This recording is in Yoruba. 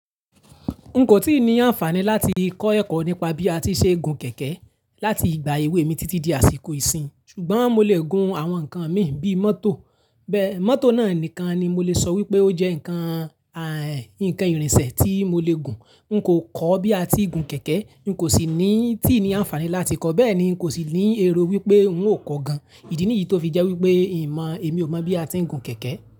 N kò tíì ní àǹfààní láti kọ́ ẹ̀kọ́ nípa bí a ti ṣe ń gun kẹ̀kẹ́ láti ìgbà èwe mi títí di àsìkò ìsin. Ṣùgbọ́n mo lè gun àwọn nǹkan mí bí mọ́tò bẹ́ẹ̀ mọ́tò náà nìkan ni mo lè sọ wípé ó jẹ́ ǹkan, ǹkan ìrìnsẹ̀ tí mo lè gun. N kò kọ́ bí a ti ń gun kẹ̀kẹ́, n kò sì ní, tíì ní àǹfààní láti kọ́. Bẹ́ẹ̀ ni n kò sì ní èrò wípé n ó kọ gan. Ìdí nìyí tó fi jẹ́ wípé ìmọ̀ èmi ò mọ̀ bí a tí ń gun kẹ̀kẹ́.